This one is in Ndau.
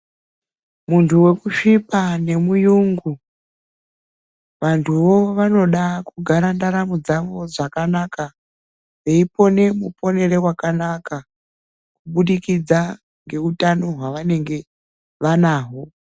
Muntu wekusvipa nemurungu vantuwo vanoda kugara ndaramo dzawo zvakanaka veipona mupono wakanaka kubudikidza nehutano hwavanenge vanhaho.